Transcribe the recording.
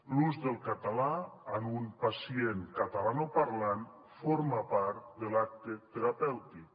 l’ús del català en un pacient catalanoparlant forma part de l’acte terapèutic